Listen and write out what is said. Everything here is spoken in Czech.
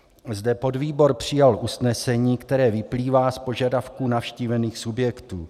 Zde podvýbor přijal usnesení, které vyplývá z požadavků navštívených subjektů.